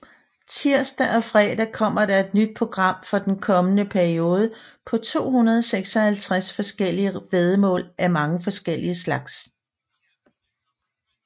Tirsdag og fredag kommer der et nyt program for den kommende periode med 256 forskellige væddemål af mange forskellige slags